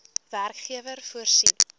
werkgewer voorsien